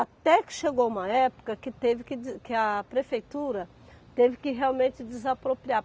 Até que chegou uma época que teve que de que a prefeitura teve que realmente desapropriar.